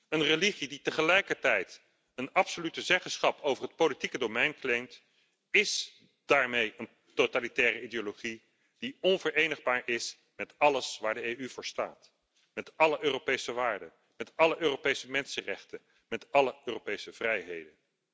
Een religie die tegelijkertijd een absolute zeggenschap over het politieke domein claimt, is daarmee een totalitaire ideologie die onverenigbaar is met alles waar de EU voor staat, met alle Europese waarden, met alle Europese mensenrechten, met alle Europese vrijheden.